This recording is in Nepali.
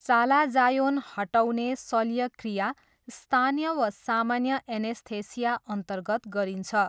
चालाजायोन हटाउने शल्यक्रिया स्थानीय वा सामान्य एनेस्थेसियाअन्तर्गत गरिन्छ।